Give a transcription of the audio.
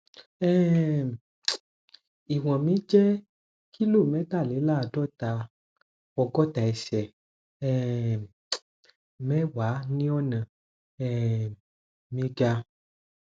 um iwọn mi jẹ kilo mẹtàléláàádọta ọgọta ẹsẹ um mẹwàá ni ọnà um mi ga